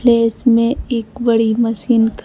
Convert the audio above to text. place में एक बड़ी मशीन का--